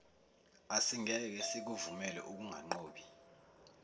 asingeke sikuvumele ukungaboni